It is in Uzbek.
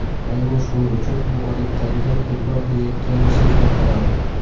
Aynan shuning uchun u odatdagidan ko‘proq yeyotganini sezmay qoladi.